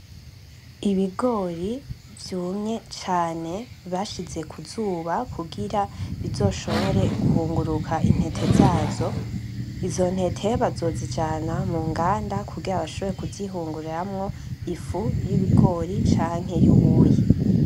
Ibigori vyumye cane bashize kuzuba kugira bizoshobore guhunguruka intete zazo, izo ntete bazozijana muganda kugira bashobore kuzihuguramwo ifu yibigori canke yubuyi.